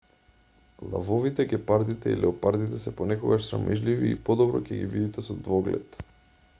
лавовите гепардите и леопардите се понекогаш срамежливи и подобро ќе ги видите со двоглед